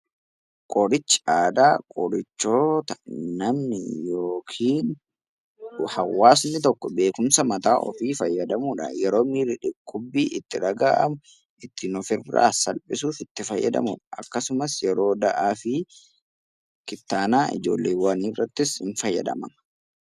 Qorichi aadaa qorichoota namni yookaan hawaasni tokko beekumsa mataa isaatti fayyadamuudhaan yeroo miirri dhukkubbii itti dhagahamu ittiin of eeguudhaaf fayyadamudha. Akkasumas yeroo dahumsaa fi kittaannaa ijoollee irrattis ni fayyada.